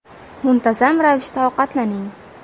Muntazam ravishda ovqatlaning .